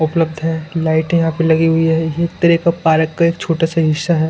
उपलब्ध है लाइटे यहा पे लगी हुई है ये एक तरेका पार्क का एक छोटा सा हिस्सा है।